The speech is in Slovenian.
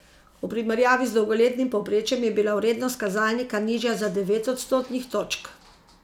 V primerjavi z dolgoletnim povprečjem je bila vrednost kazalnika nižja za devet odstotnih točk.